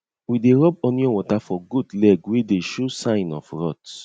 we dey rub onion water for goat leg wey dey show sign of rot